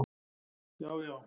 Já, já